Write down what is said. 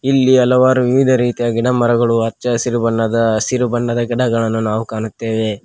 ಇಲ್ಲಿ ಹಲವಾರು ವಿವಿಧ ರೀತಿಯ ಗಿಡಮರಗಳು ಹಚ್ಚಹಸಿರು ಹಸಿರು ಬಣ್ಣದ ಗಿಡಗಳನ್ನು ನಾವು ಕಣ್ಣುತ್ತೇವೆ.